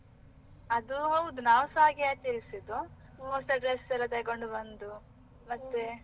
ಅದು ಹೌದು ನಾವುಸ ಹಾಗೆ ಆಚರಿಸುವುದು, ಹೊಸ dress ಎಲ್ಲ ತಗೊಂಡು ಬಂದು ಮತ್ತೆ.